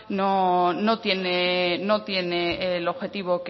no tiene el objetivo